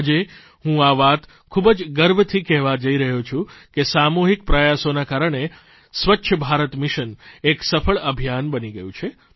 આજે હું આ વાત ખૂબ જ ગર્વથી કહેવા જઇ રહ્યો છું કે સામૂહિક પ્રયાસોના કારણે સ્વચ્છ ભારત મિશન એક સફળ અભિયાન બની ગયું છે